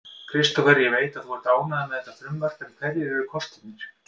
Kristófer, ég veit að þú ert ánægður með þetta frumvarp en hverjir eru kostirnir?